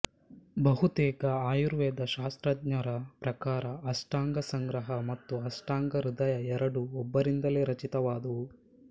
ಬಹುತೇಕ ಆಯುರ್ವೇದ ಶಾಸ್ತ್ರಜ್ಞರ ಪ್ರಕಾರ ಅಷ್ಟಾಂಗ ಸಂಗ್ರಹ ಮತ್ತು ಅಷ್ಟಾಂಗ ಹೃದಯ ಎರಡೂ ಒಬ್ಬರಿಂದಲೇ ರಚಿತವಾದುವು